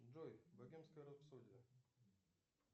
джой богемская рапсодия